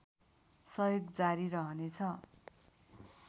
सहयोग जारी रहनेछ